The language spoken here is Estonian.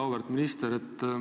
Auväärt minister!